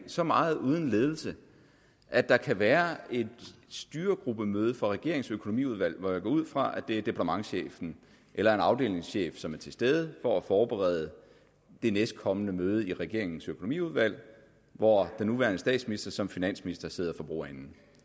så meget uden ledelse at der kan være et styregruppemøde for regeringens økonomiudvalg hvor jeg går ud fra at det er departementschefen eller en afdelingschef som er til stede for at forberede det næstkommende møde i regeringens økonomiudvalg hvor den nuværende statsminister som finansminister sidder for bordenden